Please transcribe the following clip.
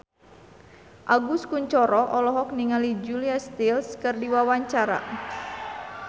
Agus Kuncoro olohok ningali Julia Stiles keur diwawancara